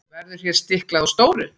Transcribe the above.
Verður hér stiklað á stóru.